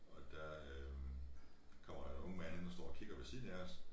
Og der øh kommer der en ung mand hen og står og kigger ved siden af os